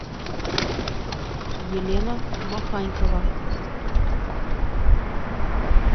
елена маханькова